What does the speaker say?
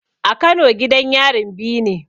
A kano gidan yarin biyu ne